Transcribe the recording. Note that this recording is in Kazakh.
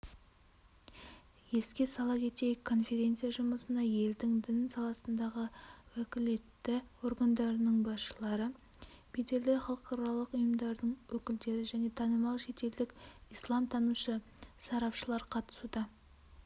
еске сала кетейік конференция жұмысына елдің дін саласындағы уәкілетті органдарының басшылары беделді халықаралық ұйымдардың өкілдері және танымал шетелдік исламтанушы сарапшылар қатысуда